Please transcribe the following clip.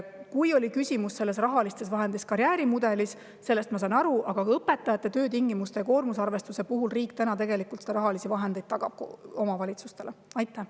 Kui küsimus on karjäärimudeli rahastamises, siis sellest ma saan aru, aga õpetajate töötingimuste ja koormusarvestuse puhul on rahalised vahendid riik täna omavalitsustele tegelikult taganud.